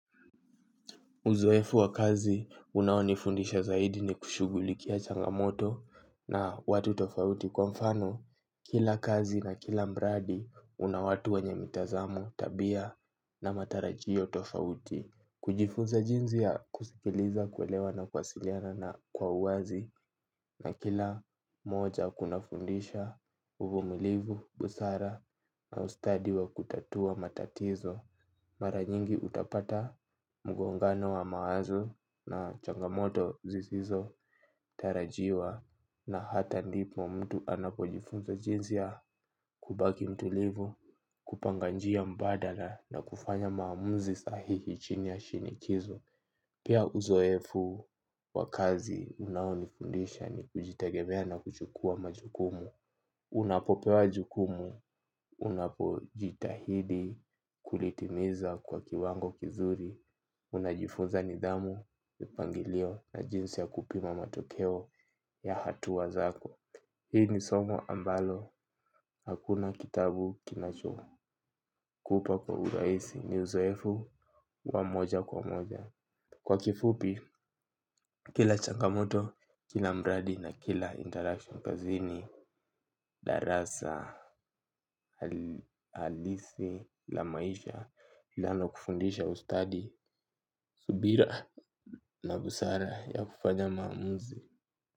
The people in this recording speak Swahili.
Uzoefu wa kazi unaonifundisha zaidi ni kushughulikia changamoto na watu tofauti kwa mfano. Kila kazi na kila mradi una watu wenye mitazamo tabia na matarajio tofauti. Kujifunza jinsi ya kusikiliza kuelewa na kuwasiliana na kwa uwazi na kila moja kuna fundisha uvumilivu, busara na ustadi wa kutatua matatizo. Mara nyingi utapata mgongano wa mawazo na changamoto zisizotarajiwa na hata ndipo mtu anapojifunza jinsi ya kubaki mtulivu, kupanga njia mbadala na kufanya maamuzi sahihi chini ya shinikizo. Pia uzoefu wa kazi unaonifundisha ni kujitegemea na kuchukua majukumu. Unapopewa majukumu, unapojitahidi kulitimiza kwa kiwango kizuri unajifunza nidhamu, mipangilio na jinsi ya kupima matokeo ya hatua zako. Hii ni somo ambalo, hakuna kitabu kinachokupa kwa urahisi. Ni uzoefu wa moja kwa moja. Kwa kifupi, kila changamoto, kila mradi na kila interaction kazini, darasa, halisi, la maisha, linalokufundisha ustadi, subira na busara ya kufanya maamuzi.